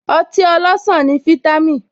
Ọtí ọlọsan ní vítámìn